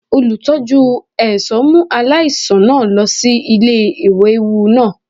Olutọju ẹṣọ mu alaisan naa lọ si ile-iyẹwu naa